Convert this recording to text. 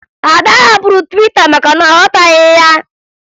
Ada hapụrụ Twita maka na ọ ghọtaghị ya